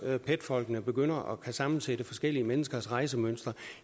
pet folkene begynder at kunne sammensætte forskellige menneskers rejsemønstre